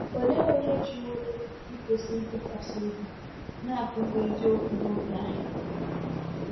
Olee onye jiworo ikwesị ntụkwasị obi na-akụzi eziokwu n’oge anyị?